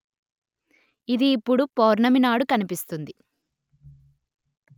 ఇది ఇప్పుడు పౌర్ణమి నాడు కనిపిస్తుంది